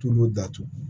Tulu datugu